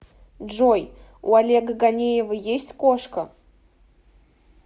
джой у олега ганеева есть кошка